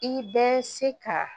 I bɛ se ka